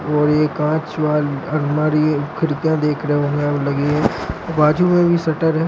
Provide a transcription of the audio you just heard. और ये कांच वाली अलमारी खिड़कियां बाजू मे भी शट्टर है।